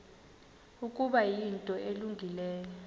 ukuba yinto elungileyo